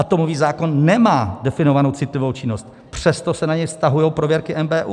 Atomový zákon nemá definovanou citlivou činnost, přesto se na něj vztahují prověrky NBÚ.